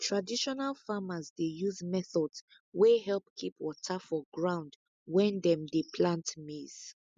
traditional farmers dey use methods wey help keep water for ground when dem dey plant maize